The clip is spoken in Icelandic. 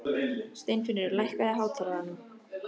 Steinfinnur, lækkaðu í hátalaranum.